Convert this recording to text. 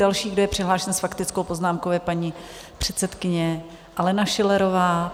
Další, kdo je přihlášen s faktickou poznámkou, je paní předsedkyně Alena Schillerová.